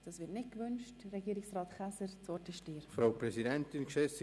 Das Wort wird seitens der Grossratsmitglieder nicht gewünscht.